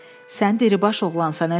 Sən diribaş oğlansan, əzizim.